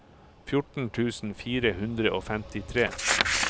fjorten tusen fire hundre og femtitre